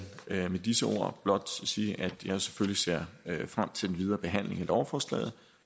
med disse ord blot sige at jeg selvfølgelig ser frem til den videre behandling af lovforslaget